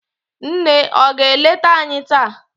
nne ọ ga-eleta anyi taa?